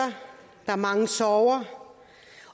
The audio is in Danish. der er mange sorger